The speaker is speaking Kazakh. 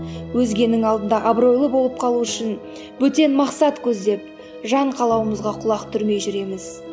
өзгенің алдында абыройлы болып қалу үшін бөтен мақсат көздеп жан қалауымызға құлақ түрмей жүреміз